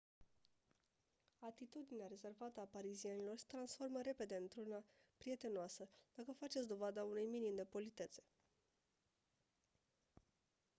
atitudinea rezervată a parizienilor se transformă repede într-una prietenoasă dacă faceți dovada unui minim de politețe